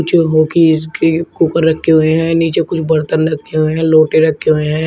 जोहोकी इसके ऊपर रखे हुए है नीचे कुछ बर्तन रखे हुए है लोटे रखे हुए है।